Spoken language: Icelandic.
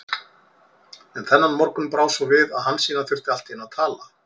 En þennan morgun brá svo við að Hansína þurfti allt í einu að tala.